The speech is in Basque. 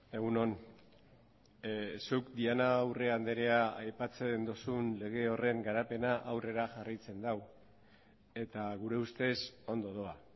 egun on zuk diana urrea andrea aipatzen duzun lege horren garapena aurrera jarraitzen du eta gure ustez ondo doa